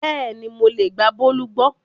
Bẹ́ẹ̀ni mo lè gba Bólú gbọ́